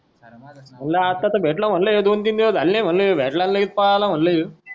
मला अता तर भेटला म्हंटले हे दोन तीन दिवस झाले नाय म्हणले यो भेटला की लगेच पळाला म्हणलेय